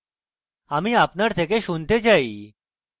আমি আপনার থেকে শুনতে চাই